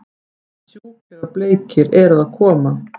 Sjúklega bleikir eru að koma!